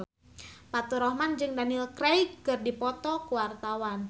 Faturrahman jeung Daniel Craig keur dipoto ku wartawan